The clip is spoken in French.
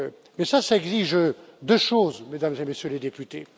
Mais cela exige deux choses, Mesdames et Messieurs les députés.